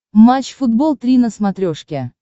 матч футбол три на смотрешке